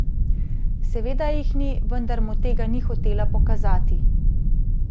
Seveda jih ni, vendar mu tega ni hotela pokazati.